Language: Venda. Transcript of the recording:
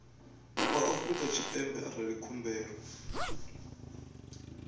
wa afrika tshipembe arali khumbelo